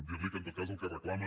dir li que en tot cas el que reclama